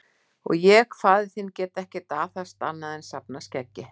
Og ég, faðir þinn, get ekkert aðhafst annað en að safna skeggi.